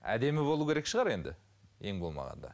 әдемі болуы керек шығар енді ең болмағанда